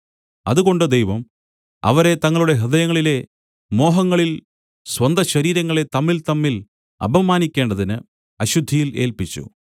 അതുകൊണ്ട് ദൈവം അവരെ തങ്ങളുടെ ഹൃദയങ്ങളിലെ മോഹങ്ങളിൽ സ്വന്തശരീരങ്ങളെ തമ്മിൽതമ്മിൽ അപമാനിക്കേണ്ടതിന് അശുദ്ധിയിൽ ഏല്പിച്ചു